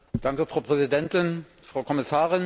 Frau Präsidentin, Frau Kommissarin!